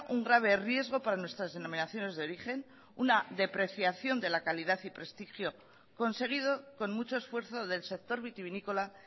un grave riesgo para nuestras denominaciones de origen una depreciación de la calidad y prestigio conseguido con mucho esfuerzo del sector vitivinícola